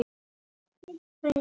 Og hvorki gengið né rekið.